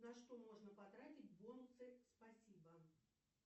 на что можно потратить бонусы спасибо